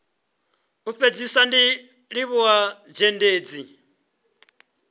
u fhedzisa ndi livhuwa zhendedzi